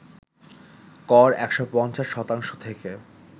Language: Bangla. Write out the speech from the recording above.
কর ১৫০ শতাংশ থেকে